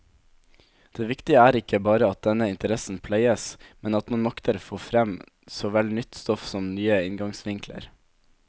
Det viktige er ikke bare at denne interessen pleies, men at man makter få frem såvel nytt stoff som nye inngangsvinkler.